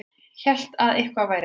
Hélt að eitthvað væri að.